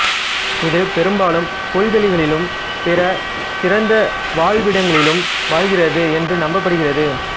இது பெரும்பாலும் புல்வெளிகளிலும் பிற திறந்த வாழ்விடங்களிலும் வாழ்கிறது என்று நம்பப்படுகிறது